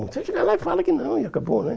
Você chega lá e fala que não, e acabou, né?